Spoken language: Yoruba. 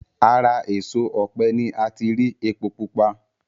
Ara èso ọ̀pẹ ni ati rí epo pupa